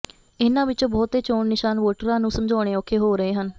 ਇਨ੍ਹਾਂ ਵਿਚੋਂ ਬਹੁਤੇ ਚੋਣ ਨਿਸ਼ਾਨ ਵੋਟਰਾਂ ਨੂੰ ਸਮਝਾਉਣੇ ਔਖੇ ਹੋ ਰਹੇ ਹਨ